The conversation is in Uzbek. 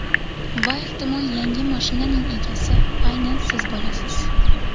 Va ehtimol yangi mashinaning egasi aynan siz bo‘lasiz.